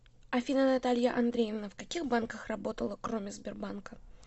афина наталья андреевна в каких банках работала кроме сбербанка